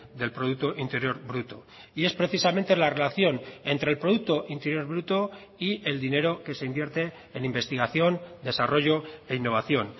del producto interior bruto y es precisamente la relación entre el producto interior bruto y el dinero que se invierte en investigación desarrollo e innovación